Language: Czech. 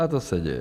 - A to se děje.